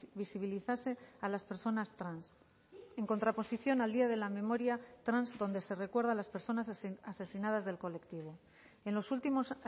visibilizase a las personas trans en contraposición al día de la memoria trans donde se recuerda a las personas asesinadas del colectivo en los últimos